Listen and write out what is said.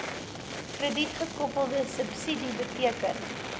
kredietgekoppelde subsidie beteken